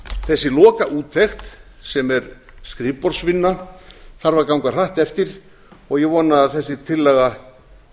þessi lokaúttekt sem er skrifborðsvinna þarf að ganga hratt eftir og ég vona að þessi tillaga